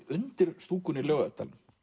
undir stúkunni í Laugardalnum